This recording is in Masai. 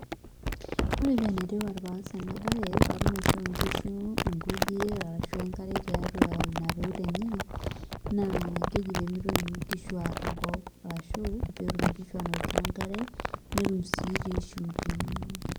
Ore paa enetipata paas enabaye paatum aishoo nkishu nkujit arashu enkare tiatua ina peut enye naa keji pee mitoki nkishu aar enkop arshu pee etumoki nkishu aanotito enkare netum sii toi shumbi.